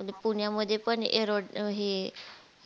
अं पुण्यामध्ये पण हे